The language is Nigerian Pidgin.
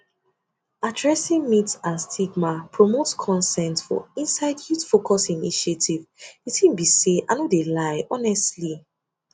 addressing myths and stigma promotes consent for inside youthfocused initiatives de tin be say i no de lie honestly